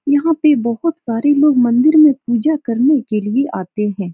यहाँ पे बोहोत सारे लोग मंदिर में पूजा करने के लिए आते हैं।